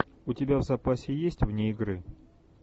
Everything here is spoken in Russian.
у тебя в запасе есть вне игры